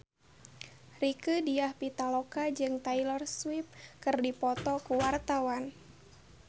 Rieke Diah Pitaloka jeung Taylor Swift keur dipoto ku wartawan